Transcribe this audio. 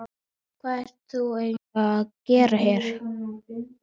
Hvað ert þú eiginlega að gera hér?